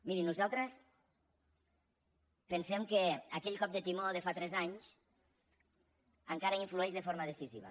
miri nosaltres pensem que aquell cop de timó de fa tres anys encara hi influeix de forma decisiva